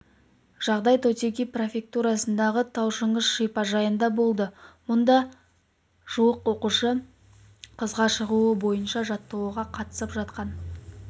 жағдай тотиги префектурасындағы тау-шаңғы шипажайында болды мұнда жуық оқушы құзға шығу бойынша жаттығуға қатысып жатқан